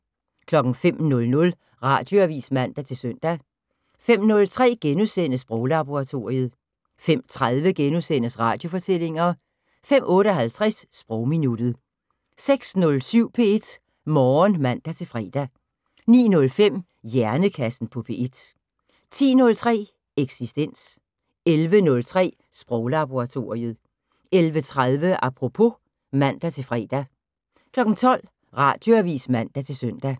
05:00: Radioavis (man-søn) 05:03: Sproglaboratoriet * 05:30: Radiofortællinger * 05:58: Sprogminuttet 06:07: P1 Morgen (man-fre) 09:05: Hjernekassen på P1 10:03: Eksistens 11:03: Sproglaboratoriet 11:30: Apropos (man-fre) 12:00: Radioavis (man-søn)